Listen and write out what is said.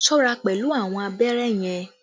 Be careful with the needle!